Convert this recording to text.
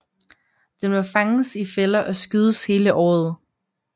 Den må fanges i fælder og skydes hele året